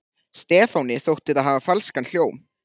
Stefáni þótti það hafa falskan hljóm.